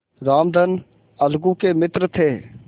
रामधन अलगू के मित्र थे